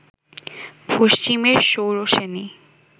পশ্চিমের শৌরসেনী